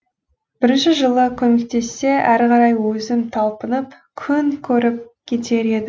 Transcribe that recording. бірінші жылы көмектессе әрі қарай өзім талпынып күн көріп кетер едім